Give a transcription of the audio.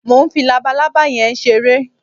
Mo ń fi labaalábá yẹn ṣeré